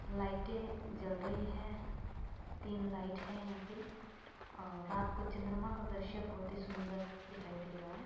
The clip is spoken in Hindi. लइटें जल रही है | तीन लाइट है यहां पर और रात को चंद्रमा का द्रिश्य बहुत ही सुंदर दिखाई दे रहा है ।